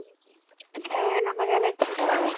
হ্যাঁ আমার allergy এর সমস্যা ও